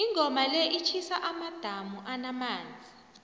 ingoma le itjhisa amadamu anamanzi